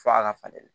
Fo a ka falen